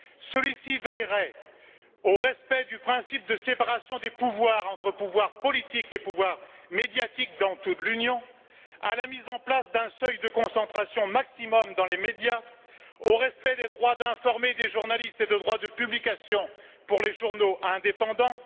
Celui ci veillerait au respect du principe de séparation des pouvoirs entre pouvoir politique et pouvoir médiatique dans toute l'Union, à la mise en place d'un seuil de concentration maximum dans les médias, au respect des droits d'informer des journalistes et de droits de publication pour les journaux indépendants.